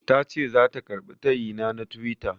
Tace zata karɓi tayina na tiwita.